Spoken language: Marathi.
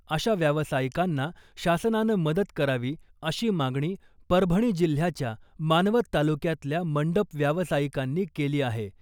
अशा व्यावसायिकांना शासनानं मदत करावी अशी मागणी परभणी जिल्ह्याच्या मानवत तालुक्यातल्या मंडप व्यावसायिकांनी केली आहे .